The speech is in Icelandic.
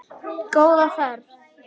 Góða ferð.